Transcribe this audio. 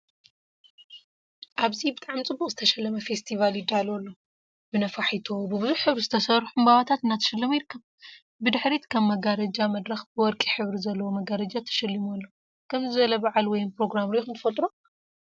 ኣብዚ ብጣዕሚ ፅቡቕ ዝተሸለመ ፈስቲቫል ይዳሎ ኣሎ። ብነፋሕቶ ብብዙሕ ሕብሪ ዝተሰርሑ ዕምባባታት እናተሸለመ ይርከብ። ብድሕሪት ከም መጋረጃ መድረኽ ብወርቂ ሕብሪ ዘለዎ መጋረጃ ተሸሊሙ ኣሎ። ከምዚ ዝበለ በዓል ወይም ፕሮግራም ርኢኹም ትፈልጡ ዶ?